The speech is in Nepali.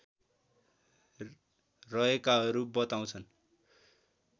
रहेकाहरू बताउँछन्